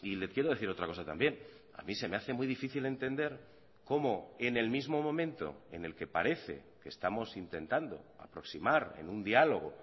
le quiero decir otra cosa también a mí se me hace muy difícil entender cómo en el mismo momento en el que parece que estamos intentando aproximar en un diálogo